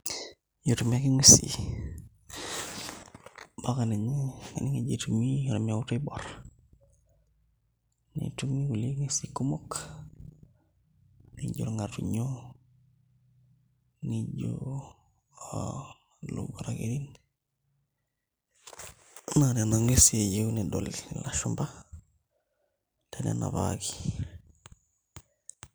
Etumi ake nguesi mpaka ninye kaning' eji etumi ormeut oiborr, netumi kulie nguesin kumok naa ijo irng'atunyo nijio aa ilowuarak kerin naa nena ng'uesi eyieu nedol ilashumba te nena parki.